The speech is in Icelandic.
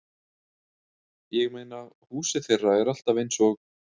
Ég meina, húsið þeirra er alltaf eins og